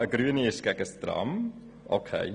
Eine Grüne ist gegen das Tram – okay.